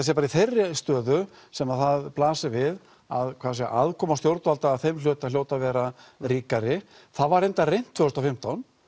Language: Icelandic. sé bara í þeirri stöðu sem það blasir við að aðkoma stjórnvalda að þeim hluta hljóti að vera ríkari það var reyndar reynt tvö þúsund og fimmtán